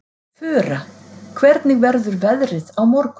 Fura, hvernig verður veðrið á morgun?